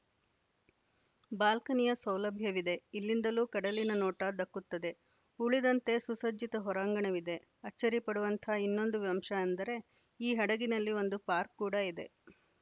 ಬಾಲ್ಕನಿಯ ಸೌಲಭ್ಯವಿದೆ ಇಲ್ಲಿಂದಲೂ ಕಡಲಿನ ನೋಟ ದಕ್ಕುತ್ತದೆ ಉಳಿದಂತೆ ಸುಸಜ್ಜಿತ ಹೊರಾಂಗಣವಿದೆ ಅಚ್ಚರಿ ಪಡುವಂಥಾ ಇನ್ನೊಂದು ಅಂಶ ಅಂದರೆ ಈ ಹಡಗಿನಲ್ಲಿ ಒಂದು ಪಾರ್ಕ್ ಕೂಡಾ ಇದೆ